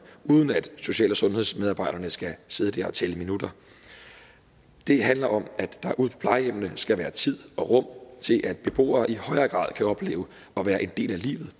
uden at social og sundhedsmedarbejderne skal sidde og tælle minutter det handler om at der ude på plejehjemmene skal være tid og rum til at beboere i højere grad kan opleve at være en del af livet